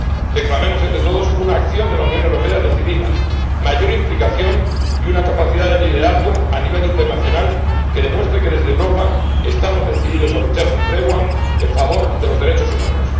Reclamemos entre todos una acción de la Unión Europea decidida, mayor implicación y una capacidad de liderazgo, a nivel internacional, que demuestre que desde Europa estamos decididos a luchar sin tregua en favor de los derechos humanos.